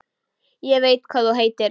Ég veit hvað þú heitir.